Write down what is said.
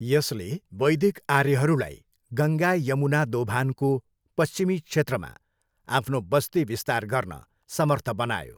यसले वैदिक आर्यहरूलाई गङ्गा यमुना दोभानको पश्चिमी क्षेत्रमा आफ्नो बस्ती विस्तार गर्न समर्थ बनायो।